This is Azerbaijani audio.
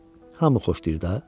Hamı xoşlayır da.